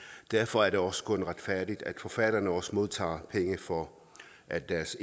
derfor er det også kun retfærdigt at forfatterne også modtager penge for at deres